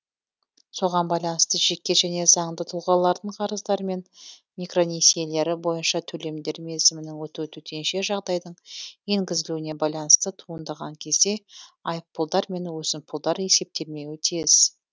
соған байланысты жеке және заңды тұлғалардың қарыздары мен микронесиелері бойынша төлемдер мерзімінің өтуі төтенше жағдайдың енгізілуіне байланысты туындаған кезде айыппұлдар мен өсімпұлдар есептелмеуі тиіс